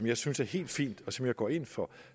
jeg synes er helt fint og som jeg går ind for